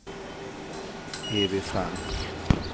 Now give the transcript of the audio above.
Evy Frank